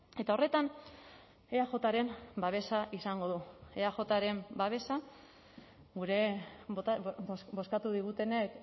eta horretan eajren babesa izango du eajren babesa gure bozkatu digutenek